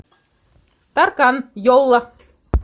таркан йола